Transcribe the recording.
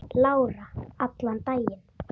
Lára: Allan daginn?